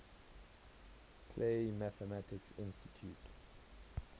clay mathematics institute